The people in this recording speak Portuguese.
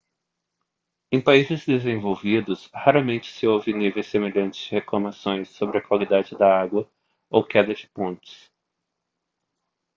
em países desenvolvidos raramente se ouve níveis semelhantes de reclamações sobre a qualidade da água ou queda de pontes